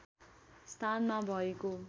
स्थानमा भएको